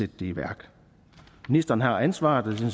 det i værk ministeren har ansvaret og det